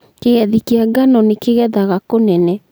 kĩgethi kĩa ngano nĩ kĩgethaga kũnene